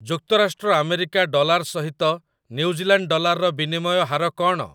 ଯୁକ୍ତରାଷ୍ଟ୍ର America dollar ସହିଟ New Zealand ଡଲାରର ବିନିମୟ ହାର କ'ଣ ?